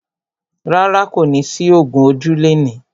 Rárá, kò ní sí ògún ojú lẹni.